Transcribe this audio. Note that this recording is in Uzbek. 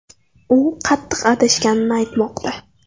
U qattiq adashganini aytmoqda.